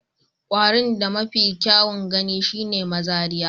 Kwarin da mafi kyawun gani shine mazariya